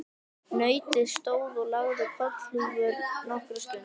Nautið stóð og lagði kollhúfur nokkra stund.